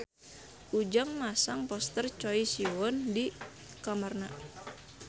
Ujang masang poster Choi Siwon di kamarna